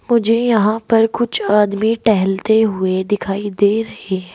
मुझे यहां पर कुछ आदमी टहलते हुए दिखाई दे रहे हैं।